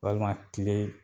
Walima kile